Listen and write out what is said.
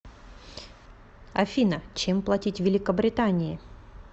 афина чем платить в великобритании